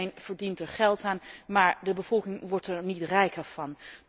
Iedereen verdient er geld aan, maar de bevolking wordt er niet rijker van.